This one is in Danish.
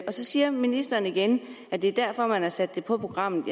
siger ministeren igen at det er derfor man har sat det på programmet